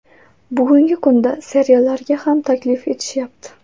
Bugungi kunda seriallarga ham taklif etishyapti.